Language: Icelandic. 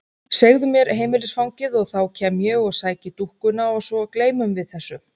Segðu mér heimilisfangið og þá kem ég og sæki dúkkuna og svo gleymum við þessu.